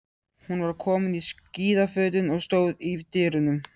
Hún var komin í skíðafötin og stóð í dyrunum.